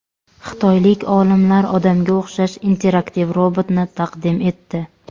Xitoylik olimlar odamga o‘xshash interaktiv robotni taqdim etdi.